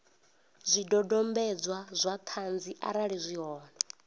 zwidodombedzwa zwa ṱhanzi arali zwi hone